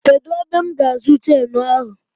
Kedụ ebe m ga-azụ chenu ahụ?